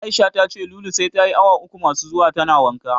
Aisha tace Lulu sai tayi awa uku masu zuwa tana wanka.